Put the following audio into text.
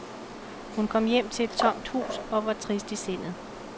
Hun kom hjem til et tomt hus og var trist i sindet.